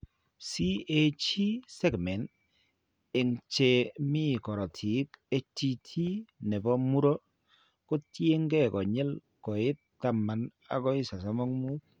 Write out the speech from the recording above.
CAG segment eng' che mi korotiik HTT ne po muro ko ketyin konyil koit 10 akoi 35.